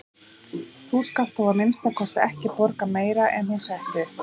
Þú skalt þó að minnsta kosti ekki borga meira en hún setti upp.